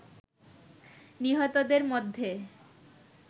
নিহতদের মধ্যে